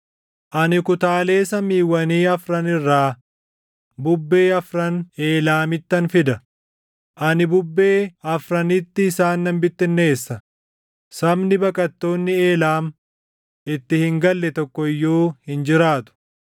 Ani kutaalee samiiwwanii afran irraa bubbee afran Eelaamittan fida; ani bubbee afranitti isaan nan bittinneessa; sabni baqattoonni Eelaam itti hin galle tokko iyyuu hin jiraatu.